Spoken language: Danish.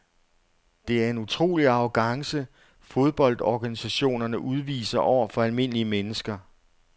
Det er en utrolig arrogance fodboldorganisationerne udviser over for almindelige mennesker.